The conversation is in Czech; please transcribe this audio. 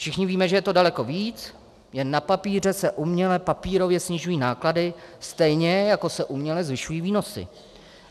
Všichni víme, že je to daleko víc, jen na papíře se uměle, papírově snižují náklady, stejně jako se uměle zvyšují výnosy.